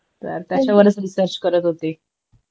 तर त्याच्यावरच रिसर्च करत होते